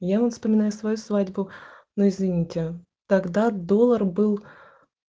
я вот вспоминаю свою свадьбу но извините тогда доллар был